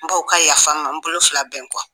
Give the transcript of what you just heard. N b'aw ka yafa ma n bolo fila bɛn kɔ.